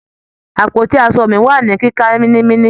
Àpótí aṣo mi wà ní kíká mínímíní.